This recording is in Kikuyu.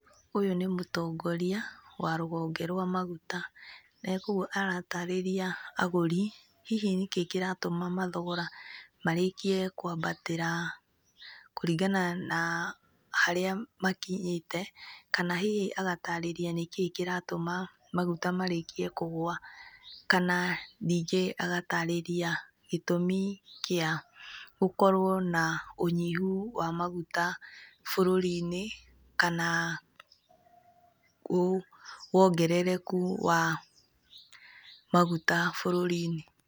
Ũyũ nĩ mũtongoria, wa rũhonge rwa maguta. Negwo aratarĩria agũri hihi nĩkĩĩ kĩratũma mathogora marĩkie kwambatĩra, kũringana na harĩa makinyĩte, kana hihi agatarĩria nĩkĩĩ kĩratũma maguta marĩkie kũgwa. Kana ningĩ agatarĩria gĩtũmi kĩa, gũkorwo na ũnyihu wa maguta bũrũri-inĩ kana, wu, wongerereku wa, maguta bũrũri-inĩ.